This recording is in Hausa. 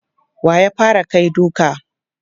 Wa ya fara kai duka?